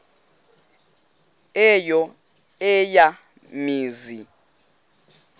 eyo eya mizi